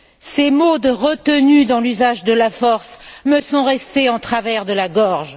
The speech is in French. Ces mots de retenue dans l'usage de la force me sont restés en travers de la gorge.